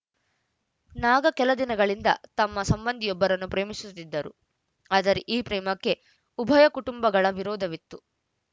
ನಾಗಾ ಕೆಲದಿನಗಳಿಂದ ತಮ್ಮ ಸಂಬಂಧಿಯೊಬ್ಬರನ್ನು ಪ್ರೇಮಿಸುತ್ತಿದ್ದರು ಆದರೆ ಈ ಪ್ರೇಮಕ್ಕೆ ಉಭಯ ಕುಟುಂಬಗಳ ವಿರೋಧವಿತ್ತು